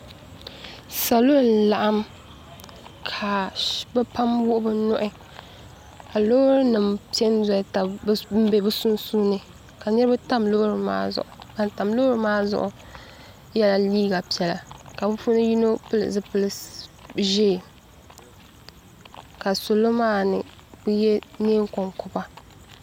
salo n laɣim ka be pam wuɣ' be nuhi ka lori nim pɛ n bɛ bi sunsuuni ka niriba tam lori maa zuɣ' ban tam lori maa zuɣ' yɛla liga piɛla ka be puuni yino pɛli zupɛli ʒiɛ ka solo maani ka be yɛ nɛɛ konkoba